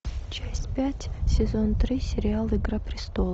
часть пять сезон три сериал игра престолов